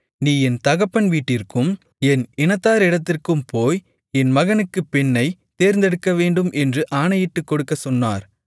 நீ என் தகப்பன் வீட்டிற்கும் என் இனத்தாரிடத்திற்கும் போய் என் மகனுக்குப் பெண்ணைத் தேர்ந்தெடுக்கவேண்டும் என்று ஆணையிட்டுக்கொடுக்கச் சொன்னார்